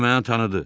O məni tanıdı.